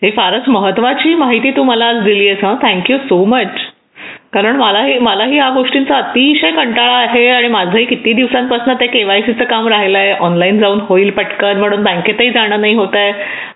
ही फारच महत्त्वाची माहिती तू मला दिली आहेस हा थँक्यू सो मच कारण मला हे मला या गोष्टींचा अतिशय कंटाळा आहे आणि माझाही कित्येक दिवसापासून ते केवायसी च काम राहिले ऑनलाइन जाऊन होईल पटकन म्हणून बँकेत पण जाणार नाही होते